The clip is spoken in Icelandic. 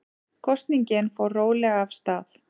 Kosningin fór rólega af stað